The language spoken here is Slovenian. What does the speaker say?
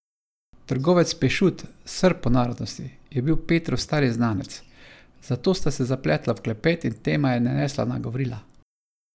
Trgovec Pešut, Srb po narodnosti, je bil Petrov stari znanec, zato sta se zapletla v klepet in tema je nanesla na Gavrila.